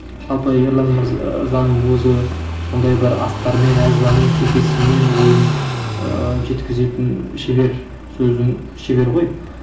жалпы ерлан өзі сондай бір астармен әжуамен кекесімен ойын ыыы жеткізетін шебер сөздің шебері ғой